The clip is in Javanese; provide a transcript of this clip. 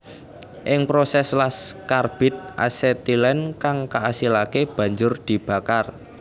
Ing proses las karbit asetilen kang kaasilake banjur dibakar